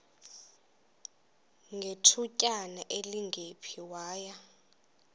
ngethutyana elingephi waya